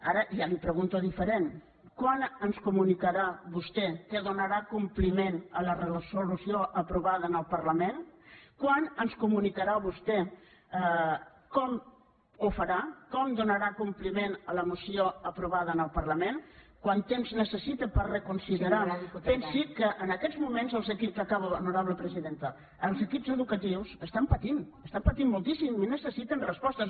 ara ja li ho pregunto diferent quan ens comunicarà vostè que donarà compliment a la resolució aprovada en el parlament quan ens comunicarà vostè com ho farà com donarà compliment a la moció aprovada en el parlament quant temps necessita per reconsiderar pensi que en aquests moments acabo honorable presidenta els equips educatius pateixen pateixen moltíssim i necessiten respostes